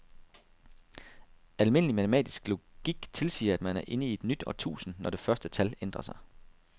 Almindelig matematisk logik tilsiger, at man er inde i et nyt årtusind, når det første tal ændrer sig.